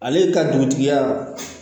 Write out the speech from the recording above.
Ale ka dugutigiya